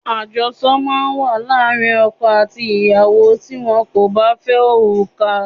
Ajosọ máa ń wà láàárín ọkọ àti ìyàwó tí wón kò bá fẹ́ òrùka.